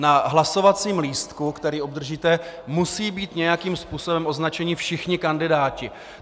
Na hlasovacím lístku, který obdržíte, musí být nějakým způsobem označeni všichni kandidáti.